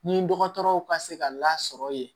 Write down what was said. Ni dɔgɔtɔrɔw ka se ka lasɔrɔ yen